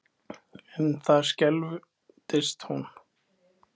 En það skelfdist hún.